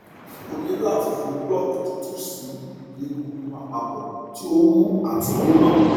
o ni lati fi block tutu si ibi egungun apapo ti o wu ati gbona